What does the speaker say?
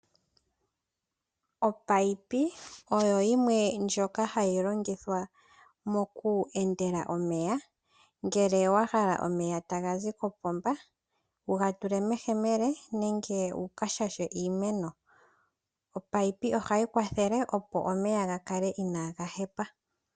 Opayipi oyo yimwe ndjoka hayi longithwa moku endela omeya, ngele wa hala omeya taga zi kopomba wuga tule meyemele, nenge wuka shashe iimeno. Opayipi oha yi kwathele opo omeya ga kale inaaga hepa.